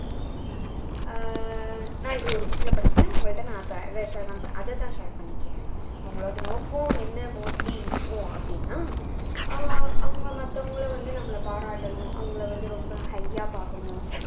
அஹ் நான் இதை ஒரு book ல படிச்சேன் உங்கள்ட்ட நான் இப்ப அத~ அதத்தான் share பண்ணிட்டு இருக்கேன் உங்களோட நோக்கம் என்ன mostly இருக்கும் அப்படின்னா அவ~ அவங்க மத்தவங்களும் வந்து நம்மளை பாராட்டணும் அவங்களை வந்து ரொம்ப high ஆ பாக்கணும்